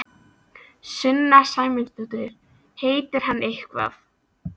Sunna Sæmundsdóttir: Heitir hann eitthvað?